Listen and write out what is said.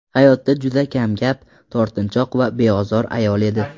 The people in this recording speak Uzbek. Hayotda juda kamgap, tortinchoq va beozor ayol edi.